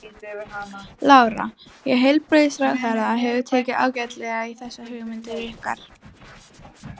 Lára: Og heilbrigðisráðherra hefur tekið ágætlega í þessar hugmyndir ykkar?